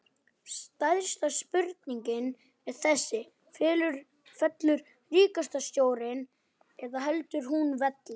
Stærsta spurningin er þessi, fellur ríkisstjórnin eða heldur hún velli?